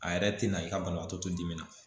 A yɛrɛ tɛ na i ka banabaatɔ to dimi na